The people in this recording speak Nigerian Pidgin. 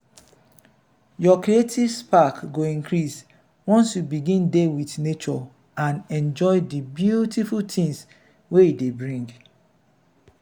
your creative spark go increase once you begin dey with nature and enjoy di beautiful things wey e dey bring.